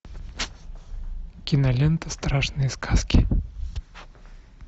кинолента страшные сказки